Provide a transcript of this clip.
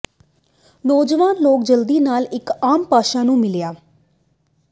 ਨੌਜਵਾਨ ਲੋਕ ਜਲਦੀ ਨਾਲ ਇੱਕ ਆਮ ਭਾਸ਼ਾ ਨੂੰ ਮਿਲਿਆ